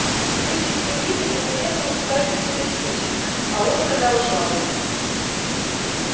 люди с земли недоуменно уставились на дьюти а он продолжал